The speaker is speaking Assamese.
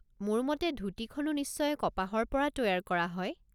মোৰ মতে ধূতিখনো নিশ্চয় কপাহৰ পৰা তৈয়াৰ কৰা হয়।